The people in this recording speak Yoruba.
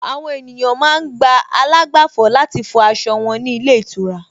Àwọn ènìyàn ma ń gba àlágbàfọ̀ láti fọ aṣọ wọn ní ilé ìtura